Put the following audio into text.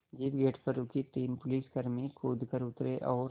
jeep gate पर रुकी तीन पुलिसकर्मी कूद कर उतरे और